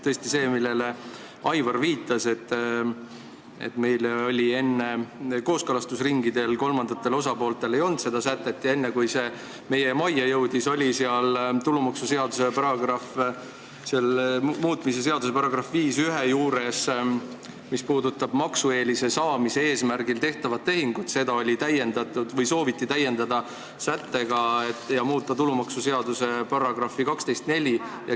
Tõesti on õige, see, millele Aivar viitas, et kooskõlastusringidel kolmandad osapooled ei näinud seda sätet, aga enne, kui see eelnõu meie majja jõudis, oli tulumaksuseaduse muutmise seaduse § 51, mis puudutab maksueelise saamise eesmärgil tehtavat tehingut, soovitud täpsustada § 12 lõikega 4.